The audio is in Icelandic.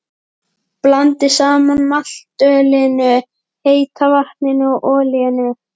Blandið saman maltölinu, heita vatninu og olíunni.